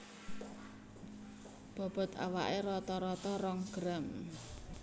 Bobot awake rata rata rong gram